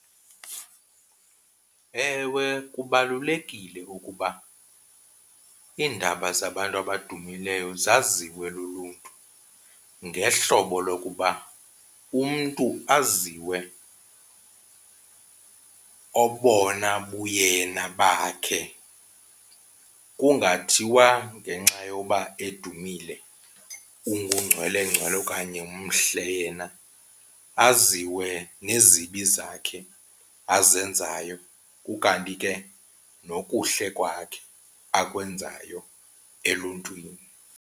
Ewe, kubalulekile ukuba iindaba zabantu abadumileyo zaziwe luluntu ngehlobo lokuba umntu aziwe obona buyena bakhe kungathiwa ngenxa yoba edumile ungungcwelengcwele okanye mhle yena. Aziwe nezibi zakhe azenzayo ukanti ke nokuhle kwakhe akwenzayo eluntwini.